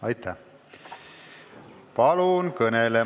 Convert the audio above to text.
Aitäh!